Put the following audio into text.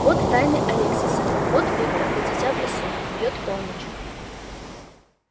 вот тайны алексиса вот виктор до дитя в лесу бьёт полночь